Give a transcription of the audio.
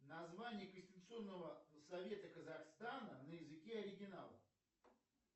название конституционного совета казахстана на языке оригинала